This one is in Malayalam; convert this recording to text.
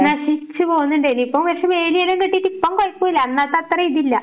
നശിച്ച് പോകുന്നുണ്ടായിന്, ഇപ്പോ പക്ഷെ വേലിയെല്ലാം കെട്ടീട്ട് ഇപ്പം കൊഴപ്പോല്ലാ അന്നത്തെ അത്രയും ഇതില്ല.